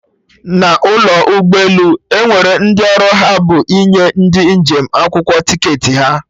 N'ụlọ ụgbọ elu, Enwere ndị ọrụ ha bụ ịnye ndị njem akwụkwọ ticketị ha